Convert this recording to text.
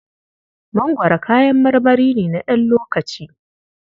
Mangwaro kayan marmari ne na ɗan lokaci.